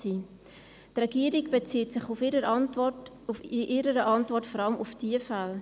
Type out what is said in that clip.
Die Regierung bezieht sich in ihrer Antwort vor allem auf diese Fälle.